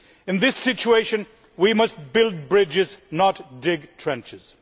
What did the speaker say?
In this situation we must build bridges, not dig trenches.